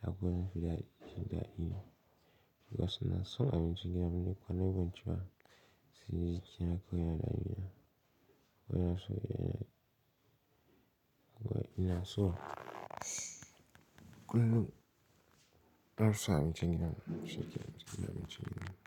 Haka yana fiɗaɗi daɗi. Wasu na so abinci gidanmu ne, kwana biyu banci ba sai yake na koyar da ɗiya. Ina so kullum na fi so abinci gidanmu, shi yake abinci gidanmu.